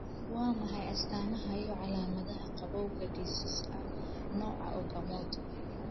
Waa maxay astamaha iyo calaamadaha gabowga dhicis ah nooca Okamoto?